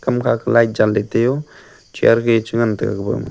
makha light janley taioo chair gey changan taga gaba ma.